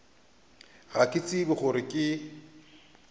ga ke tshepe gore ke